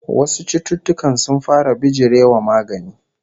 Wasu cututtukan sun fara bijire wa magani